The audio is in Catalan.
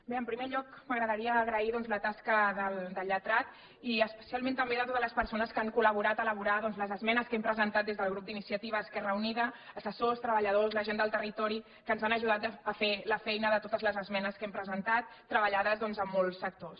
bé en primer lloc m’agradaria agrair doncs la tasca del lletrat i especialment també de totes les persones que han col·laborat a elaborar doncs les esmenes que hem presentat des del grup d’iniciativa esquerra unida assessors treballadors la gent del territori que ens han ajudat a fer la feina de totes les esmenes que hem presentat treballades doncs amb molts sectors